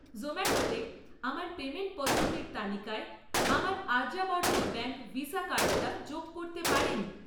জোম্যাটোতে আমার পেমেন্ট পদ্ধতির তালিকায় আমার আর্যাবর্ত ব্যাঙ্ক ভিসা কার্ডটা যোগ করতে পারেন?